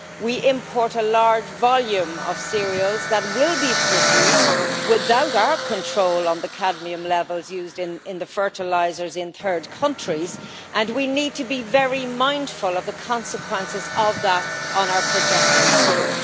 We import a large volume of cereals that will be produced without our control on the cadmium levels used in the fertilisers in third countries, and we need to be very mindful of the consequences of that on our production here.